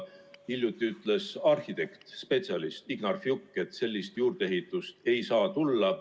Hiljuti ütles arhitekt, spetsialist Ignar Fjuk, et sellist juurdeehitust ei saa tulla.